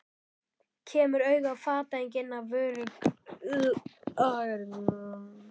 Kemur auga á fatahengi inn af vörulagernum.